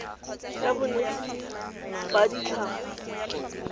ya bonetshi ba tsa tlhago